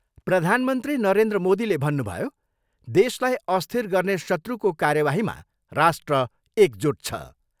प्रधानमन्त्री नरेन्द्र मोदीले भन्नभयो, देशलाई अस्थिर गर्ने शत्रुको कार्यबाहीमा राष्ट्र एकजुट छ।